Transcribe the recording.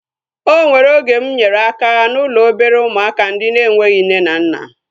O nwere oge mụ nyere aka n'ụlọ obere ụmụaka ndị na-enweghị nne na nna